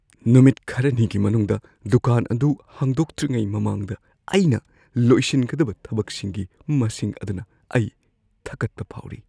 ꯅꯨꯃꯤꯠ ꯈꯔꯅꯤꯒꯤ ꯃꯅꯨꯡꯗ ꯗꯨꯀꯥꯟ ꯑꯗꯨ ꯍꯥꯡꯗꯣꯛꯇ꯭ꯔꯤꯉꯩ ꯃꯃꯥꯡꯗ ꯑꯩꯅ ꯂꯣꯏꯁꯤꯟꯒꯗꯕ ꯊꯕꯛꯁꯤꯡꯒꯤ ꯃꯁꯤꯡ ꯑꯗꯨꯅ ꯑꯩ ꯊꯀꯠꯄ ꯐꯥꯎꯔꯤ꯫